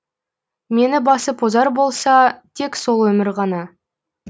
мені басып озар болса тек сол өмір ғана